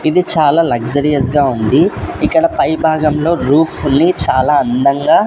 ఇది చాలా లగ్జరీస్ గా ఉంది ఇక్కడ పై భాగంలో రూప్ ఉంది చాలా అందంగా --